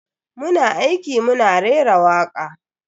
Muna aiki muna rera waka.